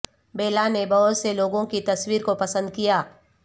بیلا نے بہت سے لوگوں کی تصویر کو پسند کیا